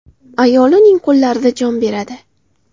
Ayoli uning qo‘llarida jon beradi.